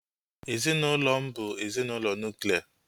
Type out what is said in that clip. Ezinaụlọ m bu ezinaụlọ nuklia